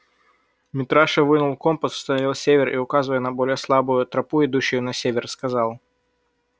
митраша вынул компас установил север и указывая на более слабую тропу идущую на север сказал